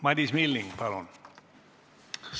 Madis Milling, palun!